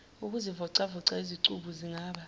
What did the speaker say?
ukuzivocavoca izicubu zingaba